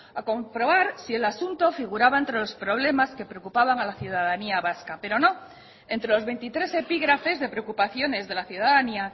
a comprobar si el asunto figuraba entre los problemas que preocupaban a la ciudadanía vasca pero no entre los veintitrés epígrafes de preocupaciones de la ciudadanía